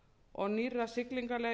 og nýrra siglingaleiða